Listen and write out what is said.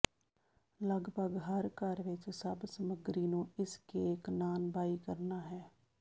ਲਗਭਗ ਹਰ ਘਰ ਵਿੱਚ ਸਭ ਸਮੱਗਰੀ ਨੂੰ ਇਸ ਕੇਕ ਨਾਨਬਾਈ ਕਰਨਾ ਹਨ